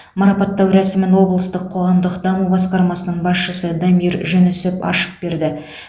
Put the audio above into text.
марапаттау рәсімін облыстық қоғамдық даму басқармасының басшысы дамир жүнісов ашып берді